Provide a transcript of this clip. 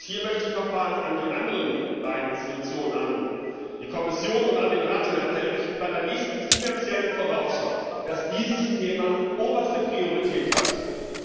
Hier möchte ich noch einmal an die anderen beiden Institutionen, an die Kommission und an den Rat, den Appell richten, bei der nächsten Finanziellen Vorausschau diesem Thema oberste Priorität einräumen.